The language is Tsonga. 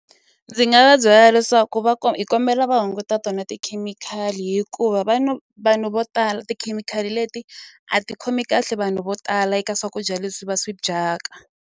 Ndzi nga va byela leswaku va hi kombela va hunguta tona tikhemikhali hikuva vanhu vanhu vo tala tikhemikhali leti a ti khomi kahle vanhu vo tala eka swakudya leswi va swi dyaka.